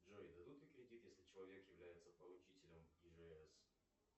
джой дадут ли кредит если человек является поручителем ижс